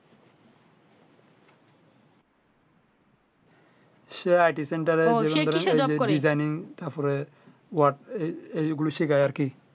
সে Itison টা যে Designing তারপরে তোমার এই গুশিখায় আরকি